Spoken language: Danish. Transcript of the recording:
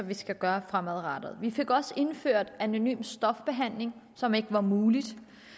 vi skal gøre fremadrettet vi fik også indført anonym stofbehandling som ikke var muligt